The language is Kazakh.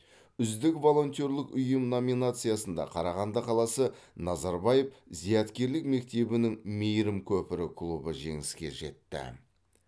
үздік волонтерлік ұйым номинациясында қарағанды қаласы назарбаев зияткерлік мектебінің мейірім көпірі клубы жеңіске жетті